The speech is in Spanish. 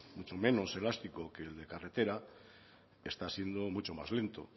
mucho menos elástico que el de carretera está siendo mucho más lento